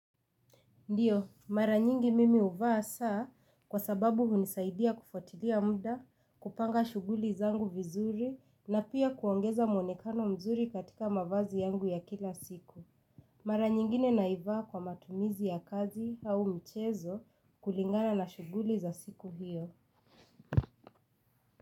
Ndiyo, mara nyingi mimi huvaa saa kwa sababu hunisaidia kufuatilia muda, kupanga shuguli zangu vizuri na pia kuongeza muonekano mzuri katika mavazi yangu ya kila siku. Mara nyingine naivaa kwa matumizi ya kazi au mchezo kulingana na shuguli za siku hiyo.